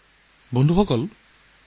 বন্ধু বান্ধীসকল